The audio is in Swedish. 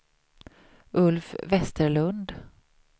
Ulf Westerlund